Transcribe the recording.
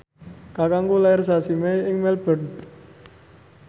kakangku lair sasi Mei ing Melbourne